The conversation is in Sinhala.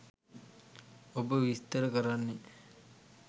ඔබ විස්තර කරන්නේ